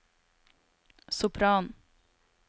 sopranen